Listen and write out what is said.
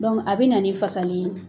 a bɛ na ni fasalen ye